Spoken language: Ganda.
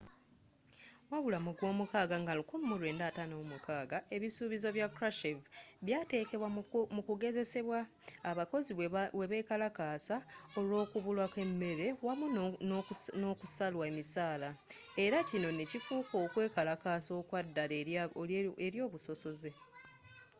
wabula mu gwomukaaga nga 1956 ebisuubizo bya krushchev byatekebwa mu kugezesebwa abakozi bwebekalakasa olwokubula kwemmere wamu nokusalwa emisaala era kino nekifuuka okwekalakasa okwaddala eri obusosoze